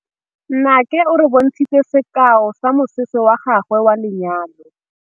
Nnake o re bontshitse sekaô sa mosese wa gagwe wa lenyalo.